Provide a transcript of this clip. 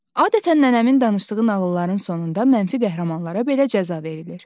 Adətən nənəmin danışdığı nağılların sonunda mənfi qəhrəmanlara belə cəza verilir.